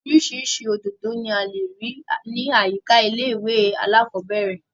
Orísirísi òdòdó ni a lè rí ní àyíká ilé ìwé alákọ́bẹ̀rẹ̀